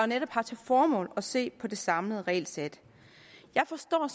netop har til formål at se på det samlede regelsæt jeg forstår